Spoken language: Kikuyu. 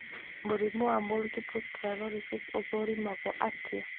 Mũrimũ wa multiple sclerosis ũthũrimagwo atĩa?